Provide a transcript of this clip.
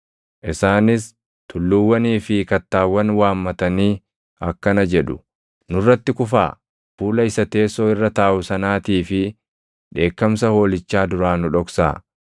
Isaanis tulluuwwanii fi kattaawwan waammatanii akkana jedhu; “Nurratti kufaa; fuula isa teessoo irra taaʼu sanaatii fi dheekkamsa Hoolichaa duraa nu dhoksaa!